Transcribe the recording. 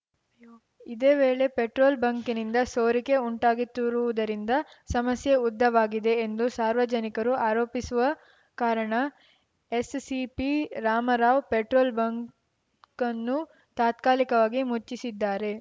ಇದೇ ವೇಳೆ ಪೆಟ್ರೋಲ್‌ ಬಂಕಿನಿಂದ ಸೋರಿಕೆ ಉಂಟಾಗಿತ್ತಿರುವುದರಿಂದ ಸಮಸ್ಯೆ ಉದ್ದವಾಗಿವೆ ಎಂದು ಸಾರ್ವಜನಿಕರು ಆರೋಪಿಸಿರುವ ಕಾರಣ S CP Ramarao petrol bunk ಅನ್ನು ತಾತ್ಕಾಲಿಕವಾಗಿ ಮುಚ್ಚಿಸಿದ್ದಾರೆ